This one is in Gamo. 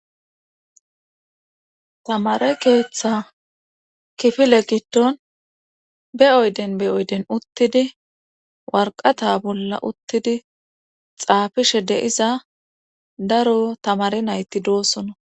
tamare keeththa kifile giddon be7oyden be oyden uttidi warqata bolla uttidi xaafishe deiza daro tamare nayti doosona